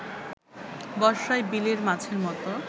বর্ষায় বিলের মাছের মতো